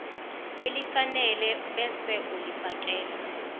elifanele ebese ulifiakela